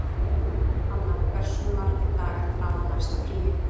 Hanna, hversu margir dagar fram að næsta fríi?